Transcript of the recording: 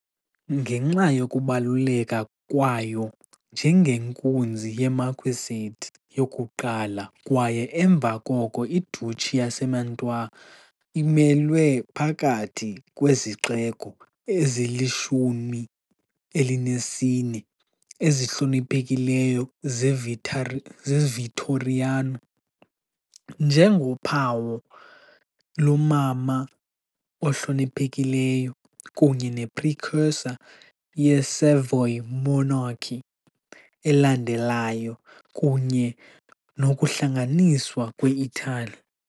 Ngenxa yokubaluleka kwayo njengenkunzi ye -marquisate yokuqala kwaye emva koko i-duchy yaseMantua, imelwe phakathi kwezixeko ezilishumi elinesine ezihloniphekileyo zeVittoriano, njengophawu "lomama ohloniphekileyo" kunye ne-precursor ye- Savoy monarchy elandelayo kunye nokuhlanganiswa kwe-Italy .